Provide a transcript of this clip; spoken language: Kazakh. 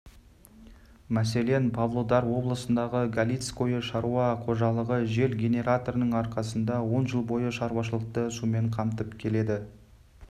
мәселен павлодар облысындағы галицкое шаруа қожалығы жел генераторының арқасында он жыл бойы шаруашылықты сумен қамтып келеді